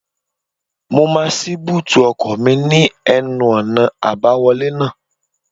Mo máa ṣí búùtì ọkọ̀ mi ní ẹnu-ọ̀nà àbáwọlé náà